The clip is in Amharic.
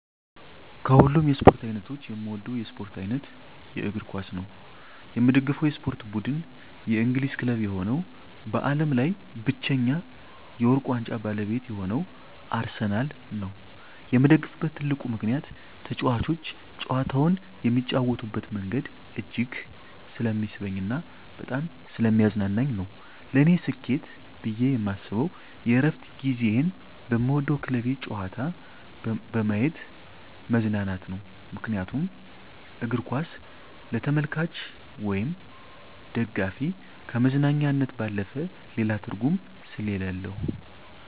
ከሀሉም የስፓርት አይነቶች የምወደው የስፖርት አይነት የእግርኳስ ነው። የምደግፈው የስፖርት ብድን የእንግሊዝ ክለብ የሆነው በአለም ላይ ብቻኛ የውርቅ ዋንጫ ባለቤት የሆነው አርሰናል ነው የምደግፍበት ትልቁ ምከንያት ተጫዋቾች ጨዋታውን የሚጫወቱበት መንገድ እጅግ ስለሚስበኝ እና በጣም ሰለሚያዝናናኝ ነው። ለኔ ስኬት ብየ የማስብ የእረፍት ጊዚየን በምወደው ክለቤ ጨዋታ በየማት መዝናናት ነው ምክንያቱም እግርኳስ ለተመልካች ወይም ደጋፊ ከመዝናኛነት ባለፈ ሌላ ትርጉም ሰሌለው።